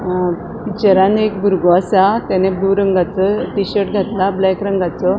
अ पिक्चरान एक बुरगो असा ताणे ब्लू रंगासो टिशर्ट घातला ब्लैक रंगाचो.